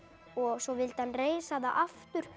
svo vildi hann reisa það aftur